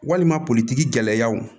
Walima politigiyanw